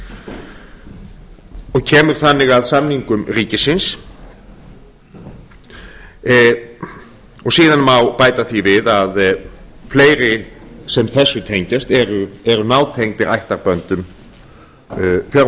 og kemur þannig að samningum ríkisins og síðan má bæta því við að fleiri sem þessu tengjast eru nátengdir ættarböndum